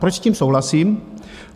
Proč s tím souhlasím?